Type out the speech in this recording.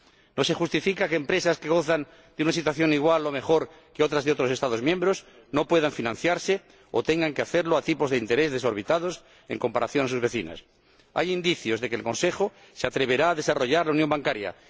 No se justifica que empresas que gozan de una situación igual o mejor que otras de otros Estados miembros no puedan financiarse o tengan que hacerlo a tipos de interés desorbitados en comparación con sus vecinas. Hay indicios de que el Consejo se atreverá a desarrollar la unión bancaria.